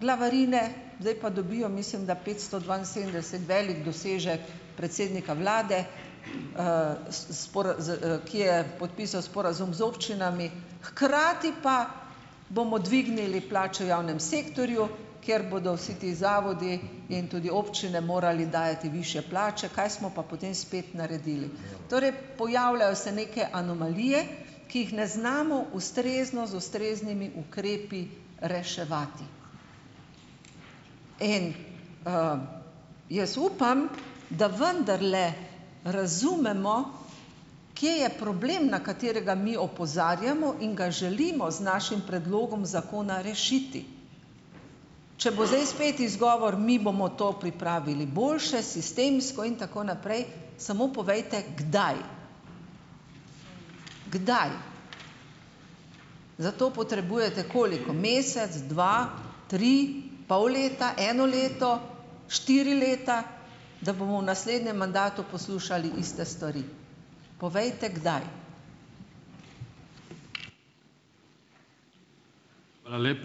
glavarine, zdaj pa dobijo, mislim, da petsto dvainsedemdeset, velik dosežek predsednika vlade, s s z, ki je podpisal sporazum z občinami, hkrati pa bomo dvignili plače v javnem sektorju, ker bodo vsi ti zavodi in tudi občine morali dajati višje plače, kaj smo pa potem spet naredili. Torej pojavljajo se neke anomalije, ki jih ne znamo ustrezno z ustreznimi ukrepi reševati. In, Jaz upam, da vendarle razumemo, kje je problem, na katerega mi opozarjamo in ga želimo z našim predlogom zakona rešiti. Če bo zdaj spet izgovor: "Mi bomo to pripravili boljše, sistemsko in tako naprej," samo povejte, kdaj. Kdaj? Za to potrebujete koliko mesec, dva, tri, pol leta, eno leto, štiri leta, da bomo v naslednjem mandatu poslušali iste stvar. Povejte, kdaj.